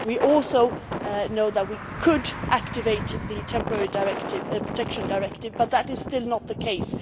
We also know that we could activate the Temporary Protection Directive but that is still not the case.